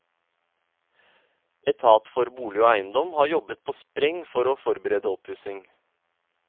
Etat for bolig og eiendom har jobbet på spreng for å forberede oppussing.